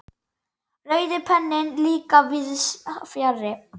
Rauði penninn líka víðs fjarri.